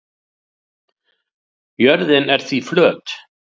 Jörðin er því flöt.